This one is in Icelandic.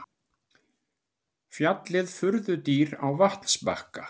Fjallið furðudýr á vatnsbakka.